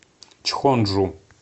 чхонджу